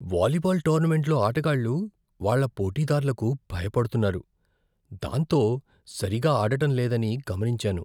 Volleyball టోర్నమెంట్లో ఆటగాళ్ళు వాళ్ళ పోటీదార్లకు భయపడుతున్నారు, దాంతో సరిగా ఆడటం లేదని గమనించాను.